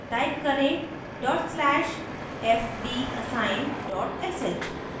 type करें: dot slash fdassign dot sh